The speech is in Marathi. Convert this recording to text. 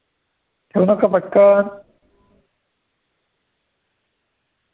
ठेवणार का पटकन.